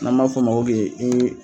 An m'a fɔ o ma ko